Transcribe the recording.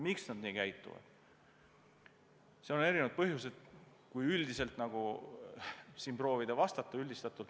Seal on erinevad põhjused.